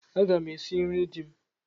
Aga m esi nri di m.